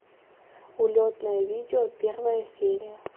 улетное видео первая серия